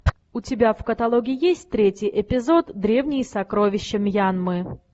у тебя в каталоге есть третий эпизод древние сокровища мьянмы